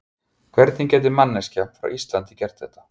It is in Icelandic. Hvernig gæti manneskja frá Íslandi gert þetta?